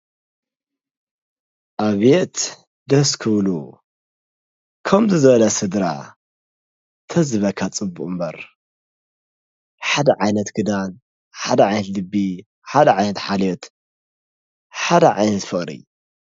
ኣቤት ደስ ከብል ከም እዚ ዝበለ ስድራ ተዝበካ ፅቡቁ እምበረ ሓደ ዓይነት ክዳን፣ ሓደ ዓይነት ልቢ፣ ሓደ ዓይነት ሓልዮት፣ ሓደ ዓይት ፍቅሪ።